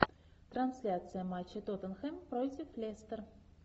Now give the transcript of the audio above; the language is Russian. трансляция матча тоттенхэм против лестер